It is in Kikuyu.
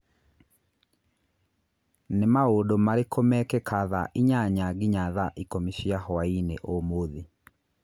Nĩ maũndũ marĩkũ mekĩka thaa inyanya nginya thaa ikũmi cia hwaĩ-inĩ ũmũthĩ